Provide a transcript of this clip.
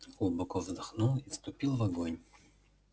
глубоко вздохнул и вступил в огонь